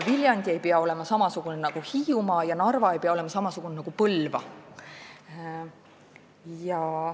Viljandi ei pea olema samasugune nagu Hiiumaa ja Narva ei pea olema samasugune nagu Põlva.